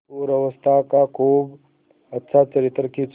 पूर्वावस्था का खूब अच्छा चित्र खींचा